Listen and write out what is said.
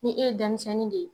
Ni e ye denmisɛnni de ye